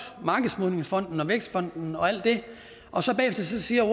markedsmodningsfonden vækstfonden og alt det og så bagefter siger at